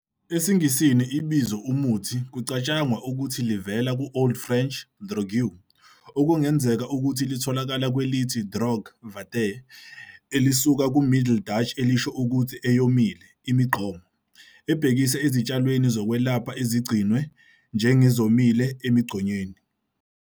EsiNgisini, ibizo "umuthi" kucatshangwa ukuthi livela ku-Old French "drogue", okungenzeka ukuthi litholakala kwelithi "droge, vate", elisuka ku-Middle Dutch elisho ukuthi "eyomile, imigqomo", ebhekisa ezitshalweni zokwelapha ezigcinwe njengezomile emigqonyeni.